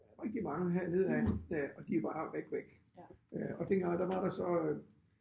Rigtig mange hernede ad øh og de er bare væk væk øh og dengang der var der så